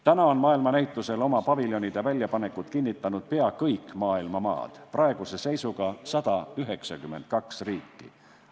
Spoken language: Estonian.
Täna on maailmanäitusel oma paviljonide väljapanekut kinnitanud pea kõik maailma maad, praeguse seisuga 192 riiki.